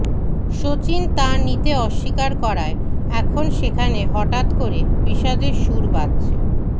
সচিন তা নিতে অস্বীকার করায় এখন সেখানে হঠাৎ করে বিষাদের সুর বাজছে